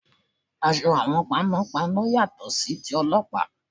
Aṣọ àwọn panọ́panọ́ yàtọ̀ sí ti Ọlọ́pàá.